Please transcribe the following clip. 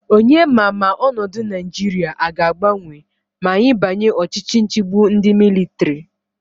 Onye ma Ma onodu naijiria aga agbanwe ma anyi banye Ochichi nchigbu ndi militari?